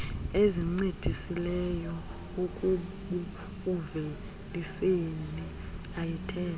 ezincedisileyo ekubuuveliseni ayithethwa